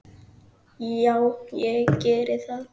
Já, ég geri það.